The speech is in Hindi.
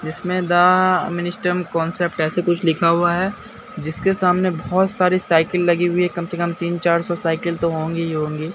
जिसमें द मिनिस्टर कॉन्सेप्ट ऐसे कुछ लिखा हुआ है जिसके सामने बहोत सारी साइकिल लगी हुई है कम से कम तीन चार सौ साइकिल तो होंगी ही होंगी।